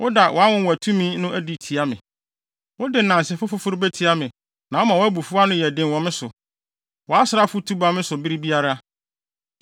Wode nnansefo foforo betia me na woma wʼabufuw ano yɛ den wɔ me so; wʼasraafo tu ba me so bere biara.